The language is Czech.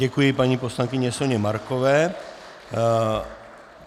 Děkuji paní poslankyni Soně Markové.